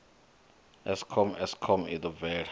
eskom eskom i ḓo bvela